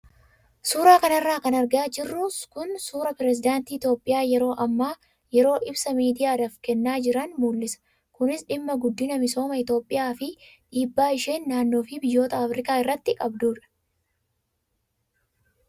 Suuraa kanarra kan argaa jirru kun suuraa pirezedaantiin Itoophiyaa yeroo ammaa yeroo ibsa miidiyaadhaaf kennaa jiran mul'ia kunis dhimma guddina misooma Itoophiyaa fi dhiibbaa isheen naannoo fi biyyoota Afrikaa irratti qabdudha.